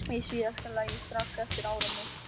Í síðasta lagi strax eftir áramót.